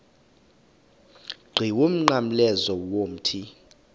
qhiwu umnqamlezo womthi